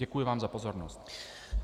Děkuji vám za pozornost.